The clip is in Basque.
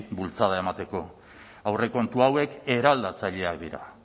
bultzada emateko aurrekontu hauek eraldatzaileak dira